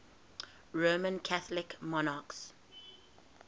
roman catholic monarchs